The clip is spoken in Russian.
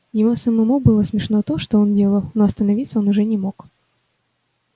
ему самому было смешно то что он делал но остановиться он уже не мог